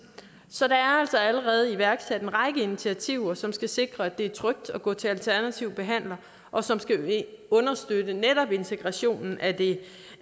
så der er altså allerede iværksat en række initiativer som skal sikre at det er trygt at gå til alternative behandlere og som skal understøtte netop integrationen af